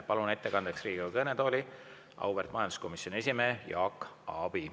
Palun ettekandeks Riigikogu kõnetooli auväärt majanduskomisjoni esimehe Jaak Aabi.